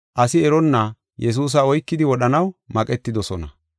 asi eronna Yesuusa oykidi, wodhanaw maqetidosona.